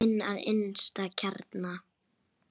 Inn að innsta kjarna.